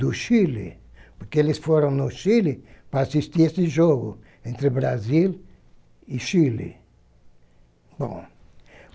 do Chile, porque eles foram no Chile para assistir a esse jogo entre o Brasil e Chile. Bom